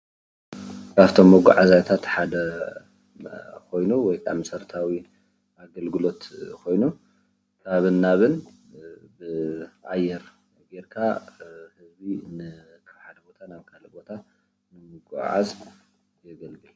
ካብቶም መጋዓዝያታት ሓደ ኮይኑ ወይ ከዓ መሰረታዊ ኣገልግሎት ኮይኑ ካብን ናብን ብኣየር ገይርካ ካብ ሓደ ቦታ ናብ ካልእ ቦታ ንምጉዕዓዝ የገልግል፡፡